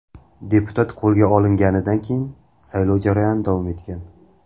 Deputat qo‘lga olinganidan keyin saylov jarayoni davom etgan.